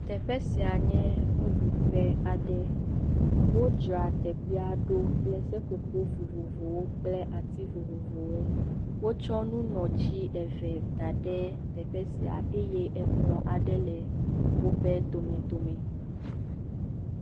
Teƒe sia nye nuɖuƒe. wodzra teƒea ɖo kple seƒoƒo vovovowo kple ati vovovowo. Wotsɔ nu nɔ tsi eve da ɖe teƒe sia eye ekplɔ ae le wo ƒe domedome.